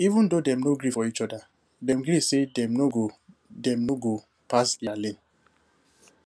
even though dem no gree for each other dem gree say dem no go dem no go pass their lane